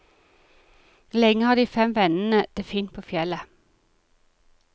Lenge har de fem vennene det fint på fjellet.